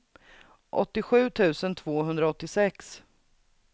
åttiosju tusen tvåhundraåttiosex